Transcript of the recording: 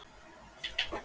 Og reiðina ná tökum á sér.